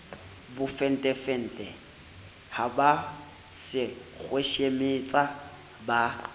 bofentefente ha ba sekhweshemetsa ba